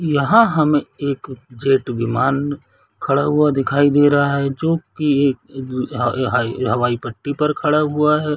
यहाँ हमें एक जेट विमान खड़ा हुआ दिखाई दे रह है जो की एक हाई-हवाई पट्टी पर खड़ा हुआ है।